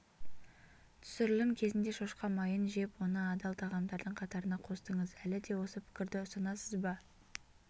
түсірілім кезінде шошқа майын жеп оны адал тағамдардың қатарына қостыңыз әлі де осы пікірді ұстанасыз ба